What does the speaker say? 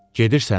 Gedirsən?